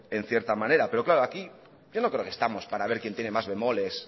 en cierta manera pero claro aquí yo no creo que estamos para ver quién tiene más bemoles